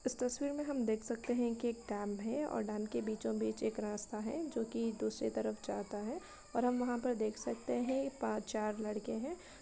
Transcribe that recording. इस तस्वीर में हम देख सकते हैं कि एक डैम है और डैम के बीचोंबीच एक रास्ता है जो कि दूसरे तरफ जाता है और हम वहाँ पर देख सकते हैं पा चार लड़के हैं।